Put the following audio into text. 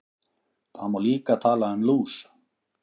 Það má líka tala um lús.